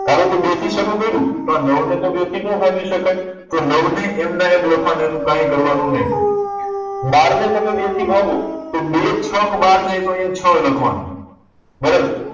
ધારોકે બે થી શરુ કર્યું તો આ નવ ને તો બે થી નો ભાગી શકાય તો નવ ને એમના એમ લખવા નાં એનું કઈ કરવા નું નહી બાર ને તમે બે થી ભાગો તો બે છક બાર થાય તો અહિયાં છ લખવા નું